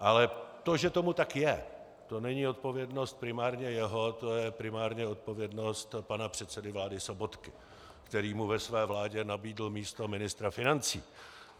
Ale to, že tomu tak je, to není odpovědnost primárně jeho, to je primárně odpovědnost pana předsedy vlády Sobotky, který mu ve své vládě nabídl místo ministra financí.